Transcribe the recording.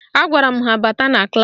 Agwara m ha bata na klaasị